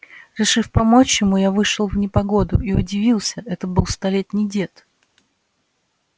решив помочь ему я вышел в непогоду и удивился это был столетний дед